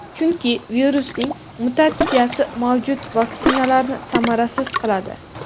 chunki virusning mutatsiyasi mavjud vaksinalarni samarasiz qiladi.